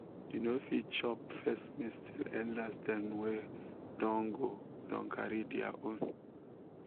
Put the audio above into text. you no fit chop first maize till elders dem wey don go don carry their own